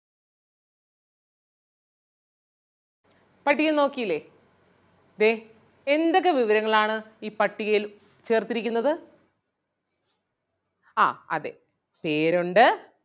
പട്ടികയിൽ നോക്കിയില്ലേ ദേ എന്തൊക്കെ വിവരങ്ങൾ ആണ് ഈ പട്ടികയിൽ ചേർത്തിരിക്കുന്നത്? ആഹ് അതെ പേരൊണ്ട്,